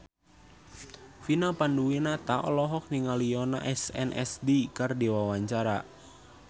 Vina Panduwinata olohok ningali Yoona SNSD keur diwawancara